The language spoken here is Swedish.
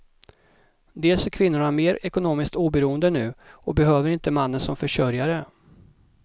Dels är kvinnorna mer ekonomiskt oberoende nu och behöver inte mannen som försörjare.